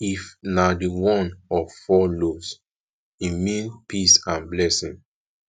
if na di one of four lobes e mean peace and blessing